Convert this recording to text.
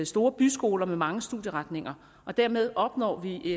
store byskoler med mange studieretninger og dermed opnår vi